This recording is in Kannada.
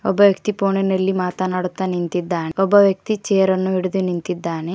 ಒಬ್ಬ ವ್ಯಕ್ತಿ ಫೋನಿನಲ್ಲಿ ಮಾತನಾಡುತ್ತಾ ನಿಂತಿದ್ದಾನೆ ಒಬ್ಬ ವ್ಯಕ್ತಿ ಚೇರ್ ಹಿಡಿದು ನಿಂತಿದ್ದಾನೆ.